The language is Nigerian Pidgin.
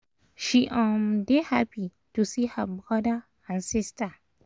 she um dey happy to see her brother and sister